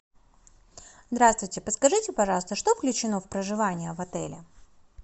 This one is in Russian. здравствуйте подскажите пожалуйста что включено в проживание в отеле